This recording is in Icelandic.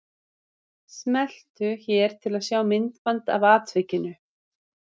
Smeltu hér til að sjá myndband af atvikinu